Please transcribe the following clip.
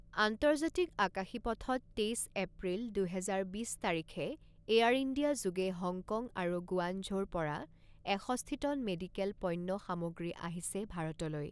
আন্তৰ্জাতিক আকাশী পথত, তেইছ এপ্ৰিল, দুহেজাৰ বিছ তাৰিখে এয়াৰ ইণ্ডিয়া যোগে হংকং আৰু গুৱানঝৌৰ পৰা এষষ্ঠি টন মেডিকেল পণ্য সামগ্ৰী আহিছে ভাৰতলৈ।